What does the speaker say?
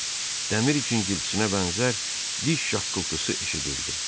Dəmir cingiltisinə bənzər diş şaqqıltısı eşidildi.